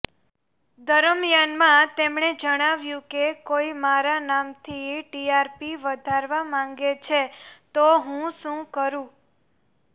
દરમિયાનમાં તેમણે જણાવ્યું કે કોઇ મારા નામથી ટીઆરપી વધારવા માંગે છે તો હું શું કરું